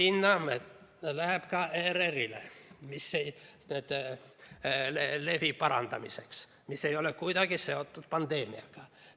Raha läheb ka ERR-ile levi parandamiseks, mis ei ole kuidagi seotud pandeemiaga.